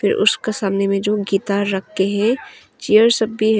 फिर उसका सामने में जो गीता रके है चेयर सब भी है।